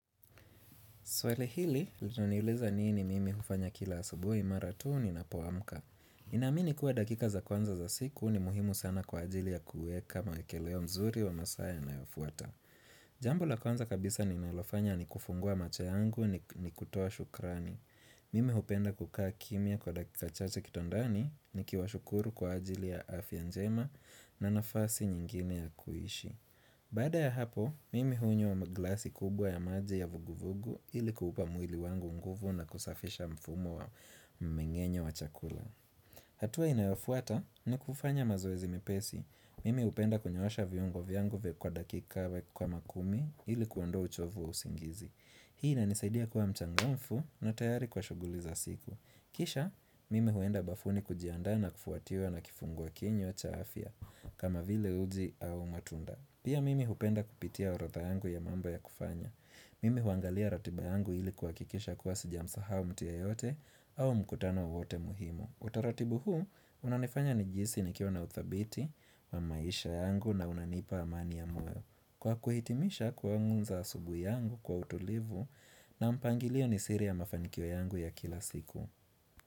Swala hili, linaniuliza nini mimi kufanya kila asubuhi mara tu ninapoamka. Ninamini kuwa dakika za kwanza za siku ni muhimu sana kwa ajili ya kuweka mawekeleo mzuri wa masaa yanayofuata. Jambo la kwanza kabisa ninalofanya ni kufungua macho yangu nikutoa shukrani. Mimi hupenda kukaa kimya kwa dakika chache kitandani nikiwa shukuru kwa ajili ya afya njema na nafasi nyingine ya kuishi. Bada ya hapo, mimi hunywa maglasi kubwa ya maji ya vuguvugu ilikuupa mwili wangu nguvu na kusafisha mfumo wa mmengenyo wa chakula hatua inayofuata ni kufanya mazoezi mipesi, mimi hupenda kunyoosha viungo vyangu vya dakika we kama kumi ilikuondoa uchovu wa usingizi Hii inanisaidia kuwa mchangamfu na tayari kwa shuguli za siku Kisha, mimi huenda bafuni kujiandaa na kufuatiwa na kifungua kinywa cha afia kama vile uji au matunda Pia mimi hupenda kupitia orodha yangu ya mambo ya kufanya. Mimi huangalia ratiba yangu ili kuhakikisha kuwa sijamsahau mtu yeyote au mkutano wowote muhimu. Utaratibu huu, unanifanya nijihisi nikiwa na uthabiti wa maisha yangu na unanipa amani ya moyo. Kwa kuhitimisha kuanza asubuhi yangu kwa utulivu na mpangilio ni siri ya mafanikio yangu ya kila siku.